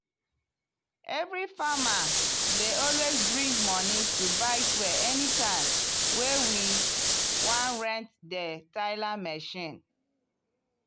every farmer dey always bring money to buy fuel anytime wey we wan rent di tiller machine.